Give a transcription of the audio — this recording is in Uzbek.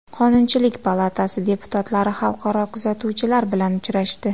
Qonunchilik palatasi deputatlari xalqaro kuzatuvchilar bilan uchrashdi.